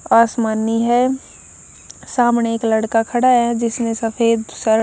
आसमानी है सामने एक लड़का खड़ा है जिसने सफेद शर्--